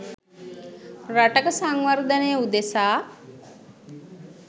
රටක සංවර්ධනය උදෙසා